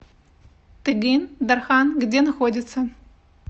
тыгын дархан где находится